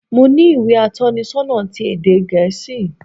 Mo ní ìwé atónisonà ti ède gèésì